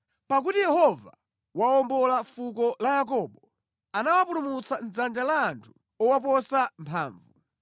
Pakuti Yehova wawombola fuko la Yakobo anawapulumutsa mʼdzanja la anthu owaposa mphamvu.